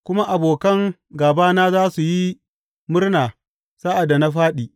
kuma abokan gābana za su yi murna sa’ad da na fāɗi.